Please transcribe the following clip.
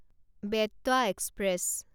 Betwa express